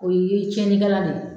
O ye tiɲɛnikala de ye.